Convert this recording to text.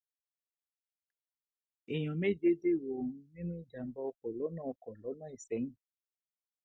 èèyàn méje dèrò ọrun nínú ìjàmbá ọkọ lọnà ọkọ lọnà isẹyìn